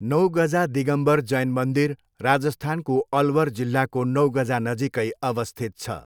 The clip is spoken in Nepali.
नौगजा दिगम्बर जैन मन्दिर राजस्थानको अलवर जिल्लाको नौगजा नजिकै अवस्थित छ।